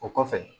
O kɔfɛ